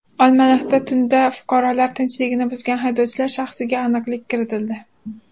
Olmaliqda tunda fuqarolar tinchligini buzgan haydovchilar shaxsiga aniqlik kiritildi.